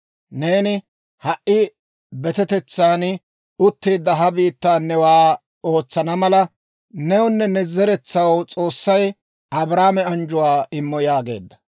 Neeni ha"i betetetsan utteedda ha biittaa newaa ootsana mala newunne ne zeretsaw S'oossay Abrahaame anjjuwaa immo» yaageedda.